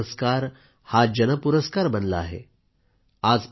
आता पद्म पुरस्कार हा जनपुरस्कार बनला आहे